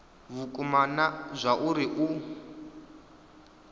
vhukuma na zwauri a u